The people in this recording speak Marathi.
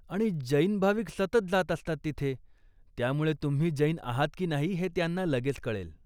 आणि, जैन भाविक सतत जात असतात तिथे, त्यामुळे तुम्ही जैन आहात की नाही हे त्यांना लगेच कळेल.